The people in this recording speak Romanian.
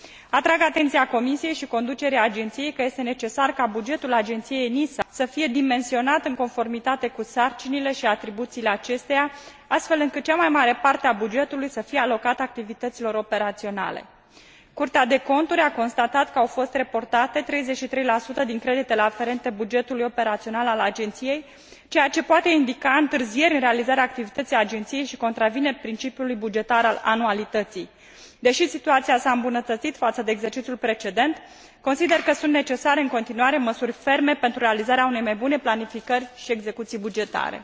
Atrag atenția Comisiei și conducerii Agenției că este necesar ca bugetul ENISA să fie dimensionat în conformitate cu sarcinile și atribuțiile acesteia, astfel încât cea mai mare parte a bugetului să fie alocată activităților operaționale. Curtea de Conturi a constatat că au fost reportate 33 din creditele aferente bugetului operațional al Agenției, ceea ce poate indica întârzieri în realizarea activității sale și contravine principiului bugetar al anualității. Deși situația s a îmbunătățit față de exercițiul precedent, consider că sunt necesare în continuare măsuri ferme pentru realizarea unei mai bune planificări și execuții bugetare.